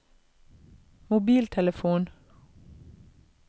mobiltelefon